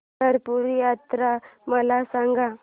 पंढरपूर यात्रा मला सांग